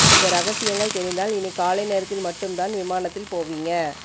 இந்த ரகசியங்கள் தெரிந்தால் இனி காலை நேரத்தில் மட்டும்தான் விமானத்தில் போவீங்க